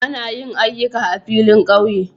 Ana yin aƴuka a filin ƙauye